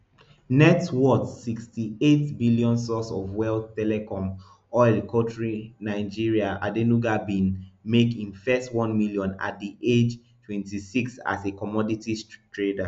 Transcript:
net worth sixty-eight billion source of wealth telecom oil kontrinigeria adenuga bin make im first one million at di age twenty-six as a commodities trader